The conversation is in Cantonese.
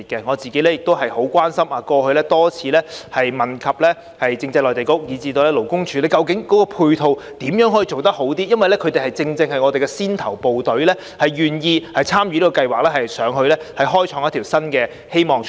我個人亦很關心這方面，過去曾多次質詢政制及內地事務局以至勞工處，如何能把配套做好一點，因為他們正正是我們的先頭部隊，願意參與該計劃，到內地開創出一條新的希望出路。